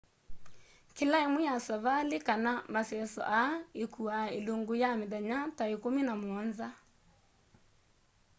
kila imwe ya savali kana maseso aya ikuaa ilungu ya mithenya ta ikumi na muonza